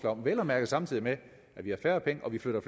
om vel at mærke samtidig med at vi har færre penge og vi flytter